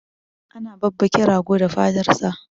ana babbake rago da fatar sa